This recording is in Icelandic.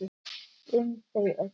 Um þau öll.